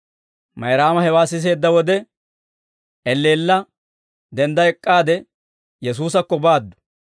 Mayraama hewaa siseedda wode, elleella dendda ek'k'aade Yesuusakko baaddu.